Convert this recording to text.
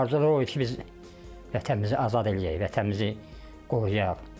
Arzulu o idi ki, biz vətənimizi azad eləyək, vətənimizi qoruyaq.